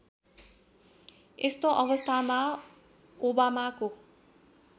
यस्तो अवस्थामा ओबामाको